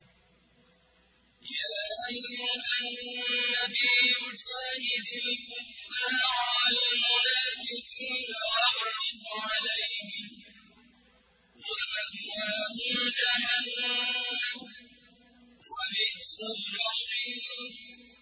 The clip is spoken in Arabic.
يَا أَيُّهَا النَّبِيُّ جَاهِدِ الْكُفَّارَ وَالْمُنَافِقِينَ وَاغْلُظْ عَلَيْهِمْ ۚ وَمَأْوَاهُمْ جَهَنَّمُ ۖ وَبِئْسَ الْمَصِيرُ